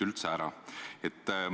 Aitäh!